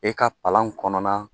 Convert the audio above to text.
E ka palan kɔnɔna